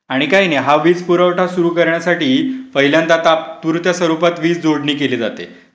आणि काही नाही हा वीज पुरवठा सुरू करण्यासाठी पहिल्यांदा तात्पुरत्या स्वरूपात वीज जोडणी केले जाते.